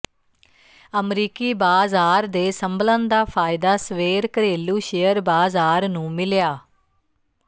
ਅਮਰੀਕੀ ਬਾਜ਼ਾਰ ਦੇ ਸੰਭਲਣ ਦਾ ਫਾਇਦਾ ਸਵੇਰ ਘਰੇਲੂ ਸ਼ੇਅਰ ਬਾਜ਼ਾਰ ਨੂੰ ਮਿਲਿਆ